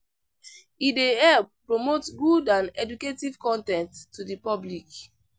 E dey help promote good and educative con ten ts to the public.